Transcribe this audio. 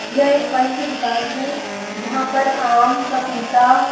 यह एक फल की दुकान है। जहाँ पर आम पपीता --